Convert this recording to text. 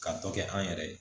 Ka dɔ kɛ an yɛrɛ ye